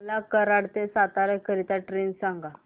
मला कराड ते सातारा करीता ट्रेन सांगा